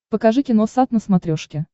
покажи киносат на смотрешке